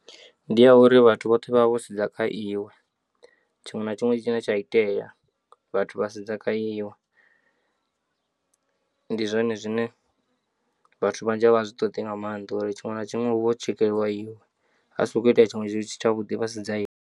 Ndi ya uri vhathu vhoṱhe vha vha vho sedza kha iwe tshiṅwe na tshiṅwe tshine tsha itea vhathu vha sedza kha iwe, ndi zwone zwine vhathu vhanzhi a vha a zwi ṱoḓi nga maanḓa uri tshiṅwe na tshiṅwe hu vho tshekelwa iwe ha sokou itea tshinwe tshithu tsha vhuḓi vhasedza iwe.